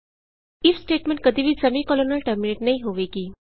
if statement ਕਦੀ ਵੀ semicolon ਨਾਲ ਟਰਮੀਨੇਟ ਨਹੀਂ ਹੋਵੇਗੀ